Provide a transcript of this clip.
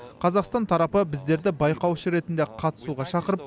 қазақстан тарапы біздерді байқаушы ретінде қатысуға шақырып